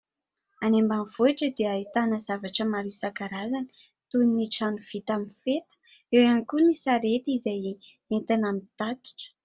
Any ambanivohitra dia ahitana zavatra maro isan-karazany toy ny trano vita amin'ny feta, eo ihany koa ny sarety izay entina mitatitra.